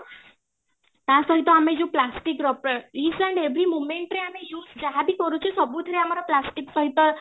ତା ସହିତ ଆମେ ଯୋଉ plastic ର each and every moment ରେ ଆମେ use ଯାହାବି କରୁଛେ ସବୁଥିରେ ଆମର plastic ସହିତ